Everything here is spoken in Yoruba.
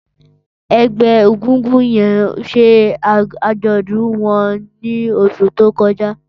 Ẹgbẹ ègúngún yèn ṣé ájọ̀dún wọn ni óṣù tókọ̀já